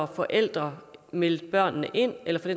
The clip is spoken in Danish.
forældre meldte børnene ind eller for